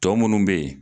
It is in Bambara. Tɔ minnu bɛ yen